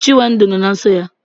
Chinwendu nọ na nsọ ya.